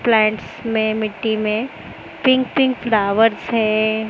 Plants मे मिट्टी मे पिंक पिंक फ्लावर्स है।